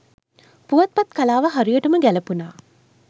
පුවත්පත් කලාව හරියටම ගැලපුන